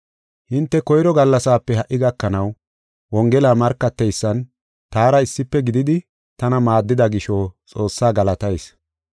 Hinte koyro gallasape ha77i gakanaw, Wongela markateysan taara issife gididi, tana maaddida gisho, Xoossaa galatayis.